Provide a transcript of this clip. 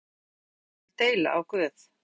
Hver ert þú, maður, að þú skulir deila á Guð?